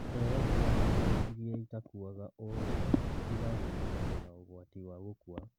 Cero cia hakiri irĩa itakuaga orĩo itigaga mũndũ na ugwati wa gũkua